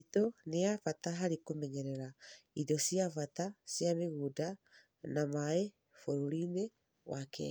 Mĩtitũ nĩ ya bata harĩ kũmenyerera indo cia bata cia mĩgũnda na maĩ bũrũri-inĩ kenya,